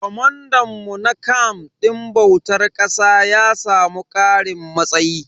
Comandan mu na camf din bautar ƙasa ya samu karin matsayi.